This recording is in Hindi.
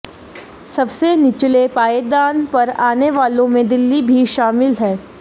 सबसे निचले पायदान पर आने वालों में दिल्ली भी शामिल है